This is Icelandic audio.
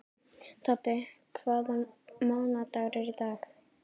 Tobbi, hvaða mánaðardagur er í dag?